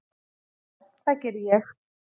Já, það geri ég.